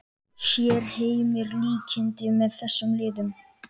Sér Heimir líkindi með þessum liðum?